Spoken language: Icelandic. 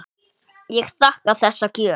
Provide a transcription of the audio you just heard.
Ég þakka þessa gjöf.